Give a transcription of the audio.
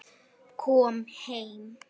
Kom heim!